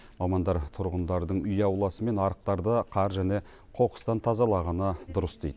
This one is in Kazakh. мамандар тұрғындардың үй ауласы мен арықтарды қар және қоқыстан тазалағаны дұрыс дейді